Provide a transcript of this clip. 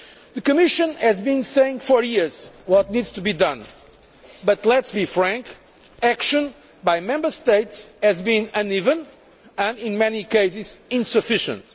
The Commission has been saying for years what needs to be done, but let us be frank action by the Member States has been uneven and in many cases insufficient.